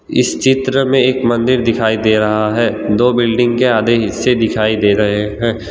इस चित्र में एक मंदिर दिखाई दे रहा है दो बिल्डिंग के आधे हिस्से दिखाई दे रहे हैं।